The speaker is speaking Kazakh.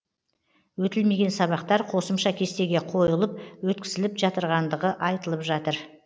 өтілмеген сабақтар қосымша кестеге қойылып өткізіліп жатырғандығы айтылватыр